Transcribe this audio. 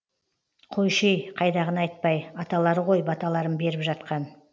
қойшы ей қайдағыны айтпай аталары ғой баталарын беріп жатқан